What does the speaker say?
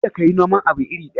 Kada ka yi noman abu iri ɗaya.